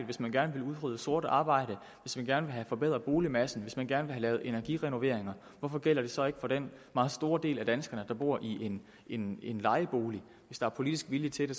hvis man gerne vil udrydde sort arbejde hvis man gerne vil have forbedret boligmassen hvis man gerne vil have lavet energirenoveringer hvorfor gælder det så ikke for den meget store del af danskerne der bor i en en lejebolig hvis der er politisk vilje til det